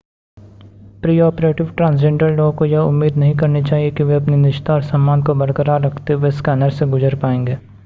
pre-operative transgender लोगों को यह उम्मीद नहीं करनी चाहिए कि वे अपनी निजता और सम्मान को बरकरार रखते हुए स्कैनर्स से गुज़र पाएंगे